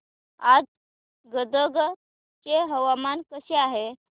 आज गदग चे हवामान कसे आहे